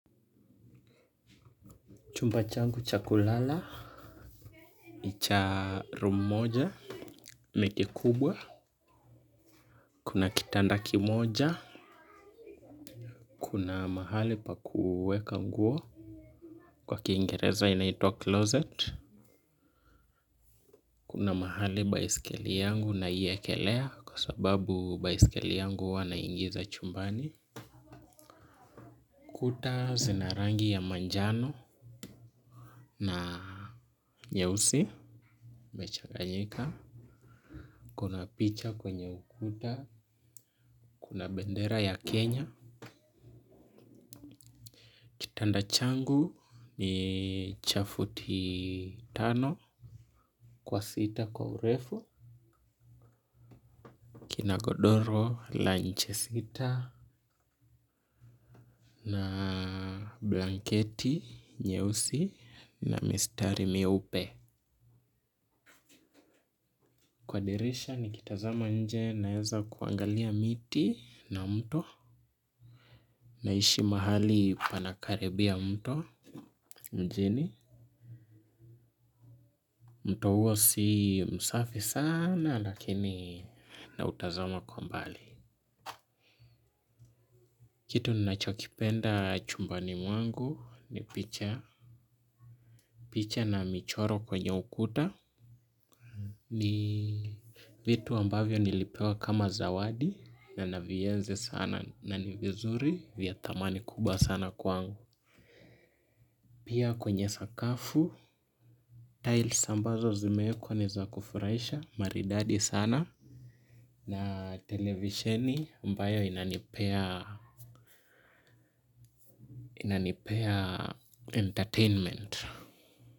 Chumba changu cha kulala. Ni cha room moja. Ni kikubwa. Kuna kitanda kimoja. Kuna mahali pa kuweka nguo. Kwa kingereza inaitwa closet. Kuna mahali baisikeli yangu ninaiwekelea kwa sababu baisikeli yangu huwa naiingiza chumbani. Kuta zina rangi ya manjano na nyeusi imechaganyika. Kuna picha kwenye ukuta. Kuna bendera ya Kenya. Kitanda changu ni cha futi tano, kwa sita kwa urefu, kina godoro, la nche sita, na blanketi nyeusi na mistari mieupe kwa dirisha nikitazama nje naweza kuangalia miti na mto, naishi mahali panakaribia mto, mjini. Mto huo si msafi sana lakini nautazama kwa mbali. Kitu ninachokipenda chumbani mwangu ni picha na michoro kwenye ukuta ni vitu ambavyo nilipewa kama zawadi na navienzi sana na ni vizuri vya thamani kubwa sana kwangu. Pia kwenye sakafu tiles ambazo zimewekwa ni za kufurahisha maridadi sana na televisheni ambayo inanipea inanipea entertainment.